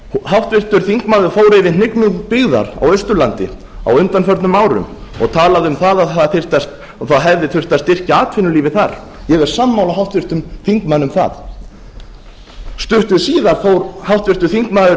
háttvirtur þingmaður fór yfir hnignun byggðar á austurlandi á undanförnum árum og talaði um að það þyrfti og hefði þurft að styrkja atvinnulífið þar ég er sammála háttvirtum þingmanni um það stuttu síðar fór háttvirtur þingmaður